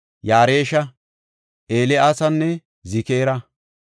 Yaaresha, Eelyiaasanne Zikira.